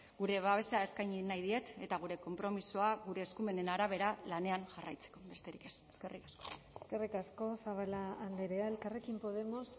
gure babesa eskaini nahi diet eta gure konpromisoa gure eskumenen arabera lanean jarraitzeko besterik ez eskerrik asko eskerrik asko zabala andrea elkarrekin podemos